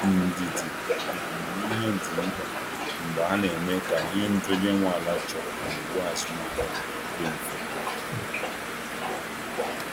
Ndidi na amamihe dị mkpa mgbe a na-eme ka ihe ndị onye nwe ala chọrọ na iwu azụmahịa dị mfe.